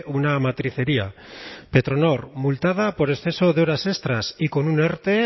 una matricería petronor multada por exceso de horas extras y con un erte